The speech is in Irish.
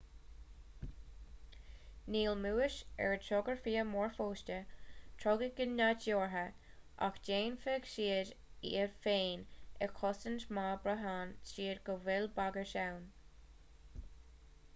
níl mús ar a dtugtar fia mór fosta trodach go nádúrtha ach déanfaidh siad iad féin a chosaint má bhraitheann siad go bhfuil bagairt ann